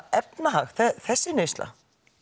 efnahag þessi neysla